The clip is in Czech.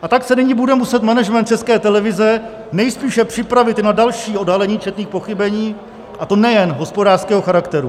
A tak se nyní bude muset management České televize nejspíše připravit na další odhalení četných pochybení, a to nejen hospodářského charakteru.